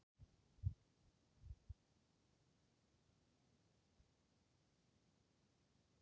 En er við því að búast að allir hundrað komist alla leið á toppinn?